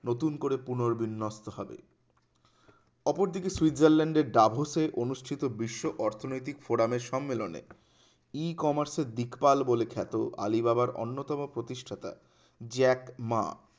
নতুন করে পুনরবিন্যস্ত হবে অপরদিকে সুইজারল্যান্ডের দাভর্সে অনুষ্ঠিত বিশ্ব অর্থনৈতিক ফোরামের সম্মেলনে ই-কমার্স এর বিকল্প বলেখ্যাত আলিবাবার অন্যতম প্রতিষ্ঠাতা জ্যাক মা